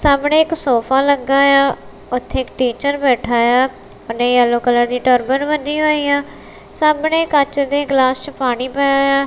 ਸਾਹਮਣੇ ਇੱਕ ਸੋਫਾ ਲੱਗਾ ਆ ਉਥੇ ਇੱਕ ਟੀਚਰ ਬੈਠਾ ਆ ਉਹਨੇ ਯੈਲੋ ਕਲਰ ਦੀ ਟਰਬਨ ਬੰਨੀ ਹੋਈ ਆ ਸਾਹਮਣੇ ਕੱਚ ਦੇ ਗਲਾਸ 'ਚ ਪਾਣੀ ਪਿਆ ਆ।